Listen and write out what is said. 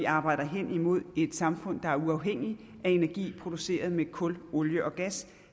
arbejder hen imod et samfund der er uafhængigt af energi produceret med kul olie og gas